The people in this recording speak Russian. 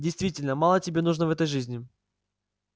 действительно мало тебе нужно в этой жизни